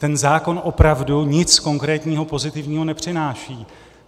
Ten zákon opravdu nic konkrétního pozitivního nepřináší.